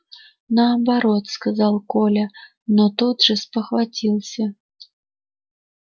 наоборот сказал коля но тут же спохватился